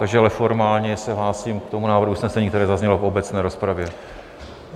Takže ale formálně se hlásím k tomu návrhu usnesení, které zaznělo v obecné rozpravě.